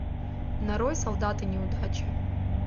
нарой солдаты неудачи